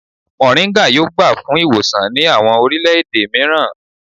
Moringa yoo gba fun iwosan ni awọn orilẹ-ede miiran